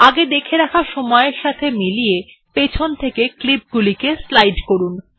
আগে দেখে রাখা সময় এর সাথে মিলিয়ে পিছন থেকে ক্লিপ গুলিকে স্লাইড করুন